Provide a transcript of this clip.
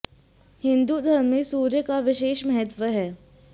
हिन्दू धर्म में सूर्य का विशेष महत्व है